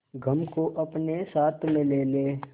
गम को अपने साथ में ले ले